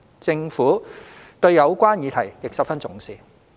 政府對有關議題亦十分重視。